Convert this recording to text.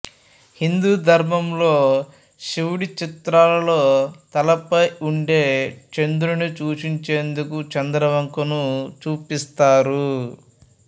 హిందూ ధర్మంలో శివుడి చిత్రాల్లో తలపై ఉండే చంద్రుణ్ణి సూచించేందుకు చంద్రవంకను చూపిస్తారు